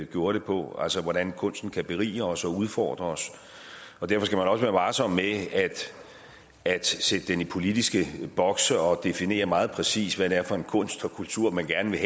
gjorde det på altså hvordan kunsten kan berige os og udfordre os og derfor skal man også være varsom med at sætte den i politiske bokse og definere meget præcist hvad det er for en kunst og kultur man gerne vil